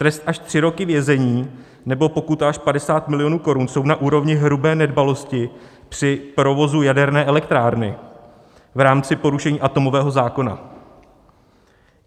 Trest až tři roky vězení nebo pokuta až 50 milionů korun jsou na úrovni hrubé nedbalosti při provozu jaderné elektrárny v rámci porušení atomového zákona.